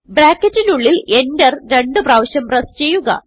ബ്രാക്കറ്റിനുള്ളിൽ Enter രണ്ടു പ്രാവിശ്യം പ്രസ് ചെയ്യുക